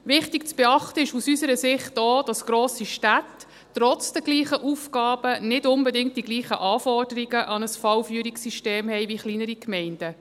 Wichtig zu beachten ist aus unserer Sicht auch, dass grosse Städte trotz den gleichen Aufgaben nicht unbedingt die gleichen Anforderungen an ein Fallführungssystem haben wie kleinere Gemeinden.